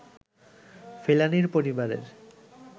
ফেলানীর পরিবারের